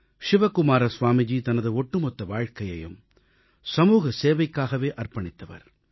சிவகுமார ஸ்வாமிஜி தனது ஒட்டுமொத்த வாழ்க்கையையும் சமூக சேவைக்காகவே அர்ப்பணித்தவர்